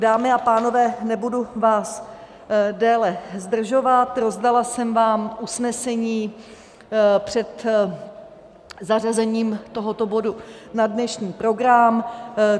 Dámy a pánové, nebudu vás déle zdržovat, rozdala jsem vám usnesení před zařazením tohoto bodu na dnešní program.